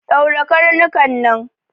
Ɗaure karnuka nan!